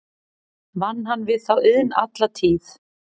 Vann hann við þá iðn alla tíð.